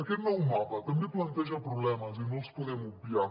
aquest nou mapa també planteja problemes i no els podem obviar